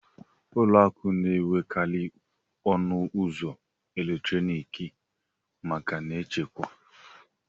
ụlọ akụ na-enwekarị ọnụ ụzọ eletrọnịkị maka nchekwa